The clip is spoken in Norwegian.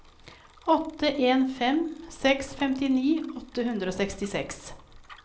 åtte en fem seks femtini åtte hundre og sekstiseks